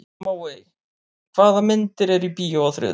Móey, hvaða myndir eru í bíó á þriðjudaginn?